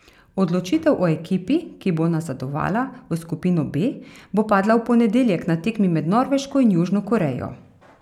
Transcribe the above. Odločitev o ekipi, ki bo nazadovala v skupino B, bo padla v ponedeljek na tekmi med Norveško in Južno Korejo.